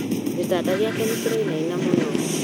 Gĩtanda gĩake nĩkĩrainaina mũno